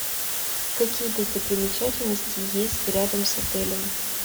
какие достопримечательности есть рядом с отелем